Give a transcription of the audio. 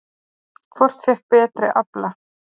Hvort fékk betri afla?